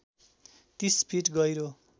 ३० feet गहिरो